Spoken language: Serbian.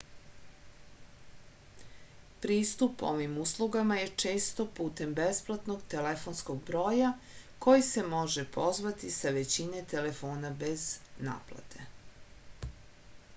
pristup ovim uslugama je često putem besplatnog telefonskog broja koji se može pozvati sa većine telefona bez naplate